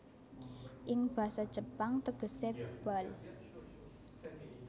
Ing basa Jepang tegese bal